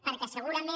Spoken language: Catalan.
perquè segurament